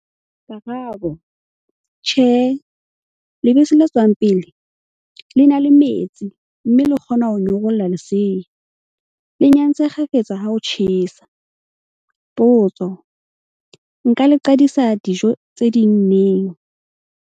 Karabo- Tjhe, lebese le tswang pele, le na le metsi mme le kgona ho nyorolla lesea. Le nyantse kgafetsa ha ho tjhesa. Potso- Nka le qadisa dijo tse ding neng?